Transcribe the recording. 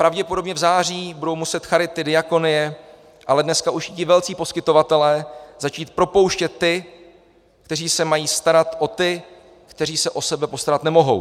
Pravděpodobně v září budou muset charity, diakonie, ale dneska už i ti velcí poskytovatelé začít propouštět ty, kteří se mají starat o ty, kteří se o sebe postarat nemohou.